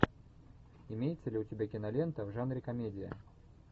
имеется ли у тебя кинолента в жанре комедия